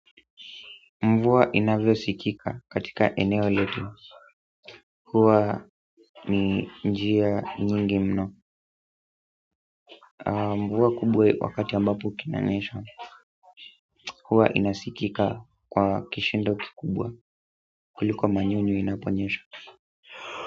Mvua inavyo sikika katika eneo letu huwa ni njia nyingi mno mvua kubwe wakati ambapo inanyesha huwa inasikika kwa kishindo kikubwa kuliko manyunyu inaponyesha.